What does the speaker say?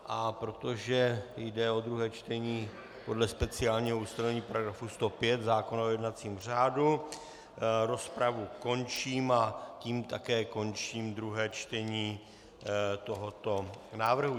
A protože jde o druhé čtení, podle speciálního ustanovení §105 zákona o jednacím řádu rozpravu končím, a tím také končím druhé čtení tohoto návrhu.